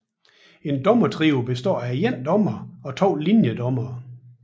En dommertrio består af én dommer og to linjedommere